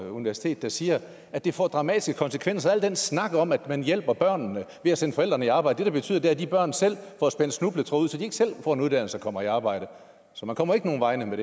universitet der siger at det får dramatiske konsekvenser og den snak om at man hjælper børnene ved at sende forældrene i arbejde det det betyder er at de børn selv får spændt snubletråde ud så de ikke selv får en uddannelse og kommer i arbejde så man kommer ikke nogen vegne med